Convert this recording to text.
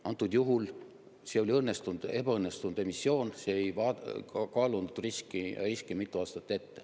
Praegusel juhul oli see ebaõnnestunud emissioon, see ei kaalunud riski mitu aastat ette.